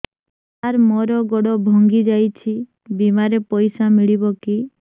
ସାର ମର ଗୋଡ ଭଙ୍ଗି ଯାଇ ଛି ବିମାରେ ପଇସା ମିଳିବ କି